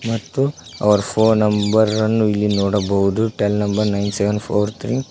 ಮತ್ತು ಅವರ phone number ಅನ್ನು ಇಲ್ಲಿ ನೋಡಬಹುದು tel number nine seven four three --